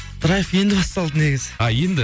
драйв енді басталды негізі а енді